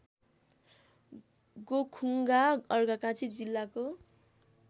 गोखुङ्गा अर्घाखाँची जिल्लाको